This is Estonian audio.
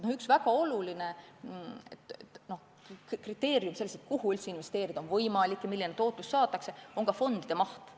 Üks väga oluline tegur, kui mõeldakse, kuhu üldse investeerida on võimalik ja milline tootlus saadakse, on fondide maht.